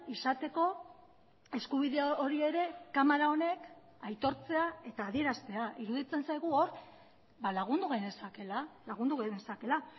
izateko eskubide hori ere kamara honek aitortzea eta adieraztea iruditzen zaigu hor lagundu genezakeela lagundu genezakeela